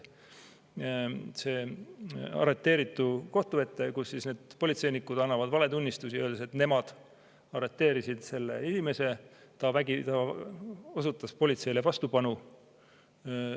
See arreteeritu viiakse kohtu ette, kus need politseinikud annavad valetunnistusi, öeldes, et nemad arreteerisid selle inimese, ta osutas politseile vastupanu.